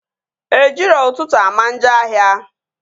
Ejiro ụtụtụ ama njọ ahịa